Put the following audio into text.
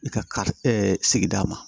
I ka sigida ma